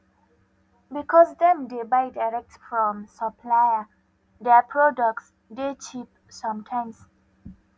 because dem dey buy direct from supplier their producs dey cheap sometimes